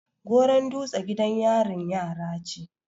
goron dutse gidan yarin yara ce